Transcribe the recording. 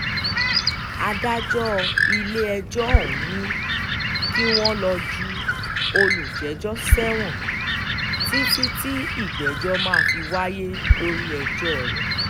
adájọ́ ilé-ẹjọ́ ọ̀hún ni kí wọ́n lọ́ọ́ ju olùjẹ́jọ́ sẹ́wọ̀n títí tí ìgbẹ́jọ́ máa fi wáyé lórí ẹjọ́ rẹ̀